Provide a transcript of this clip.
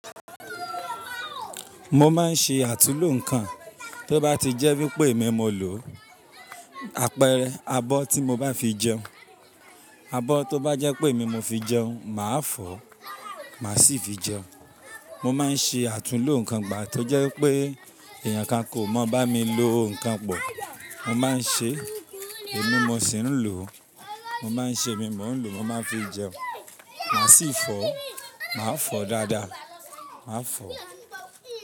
Mo máa ń ṣe àtulò nǹkan, tó bá ti jẹ́ wípé èmi mo lò ó, àpẹẹrẹ abọ́ tí mo bá fi jẹun, abọ́ tó bá jẹ́ pé èmi mo fi jẹun, màá fọ̀, màá sì fi jẹun. Mo máa ń ṣe àtulò nǹkan ìgbà tó jẹ́ pé èèyàn kan kò mọ̀ bá mi lo nǹkan pọ̀. Mo máa ń ṣe èmi mo sì ń lò ó, mo máa ń ṣe èmi mò ń lò ó, mo máa ń fi jẹun, màá sì fọ̀, màá fọ̀ dáadáa, màá fọ̀